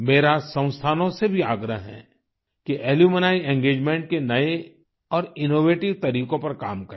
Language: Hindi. मेरा संस्थानों से भी आग्रह है कि अलुम्नी एंगेजमेंट के नए और इनोवेटिव तरीकों पर काम करें